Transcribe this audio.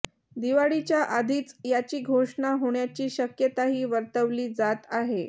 दिवाळीच्या आधीच याची घोषणा होण्याची शक्यताही वर्तवली जात आहे